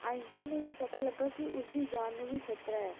Einstein ਨੂੰ ਇਹ ਪਤਾ ਲੱਗਾ ਕਿ ਉਸਦੀ ਜਾਨ ਨੂੰ ਵੀ ਖ਼ਤਰਾ ਹੈ,